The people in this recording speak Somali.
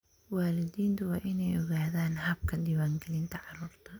Waalidiintu waa inay ogaadaan habka diiwaangelinta carruurta.